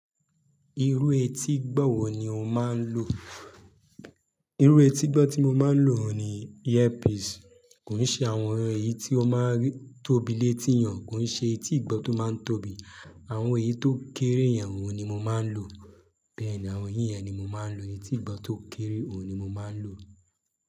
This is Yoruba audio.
Irú etí ìgbọ́ wọ́ ni o máa ń lò? Irú etí ìgbọ́ tí mo máa ń lò ni ear piece. Kòn se àwọn ẹyẹ tí ó máa ń tóbi létí yen o, kòn se etí ìgbọ́ tó máa ń tóbi. Àwọn ẹyi tó kéré yen, òun ni mo máa ń lò. Bẹ́ẹ̀ ni àwọn eyíyen oun ni mo máa ń lò. Etí ìgbọ́ tó kéré, òun ni mo máa ń lò.